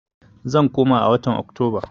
Zan koma a watan Oktoba.